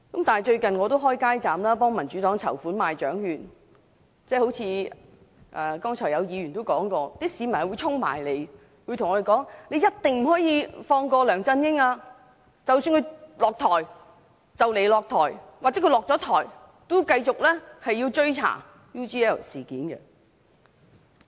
我最近協助民主黨開設街站賣獎券籌款，正如剛才議員所說，有市民跑過來對我們說，一定不可以放過梁振英，即使他快將下台或已經下台，都要繼續追查 UGL 事件。